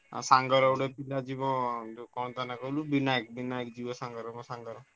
ଆଉ ସାଙ୍ଗର ଗୋଟେ ପିଲା ଯିବ ଯୋ କଣ ତା ନା କହିଲୁ ବିନାୟକ ବିନାୟକ ଯିବ ସାଙ୍ଗର ମୋ ସାଙ୍ଗର।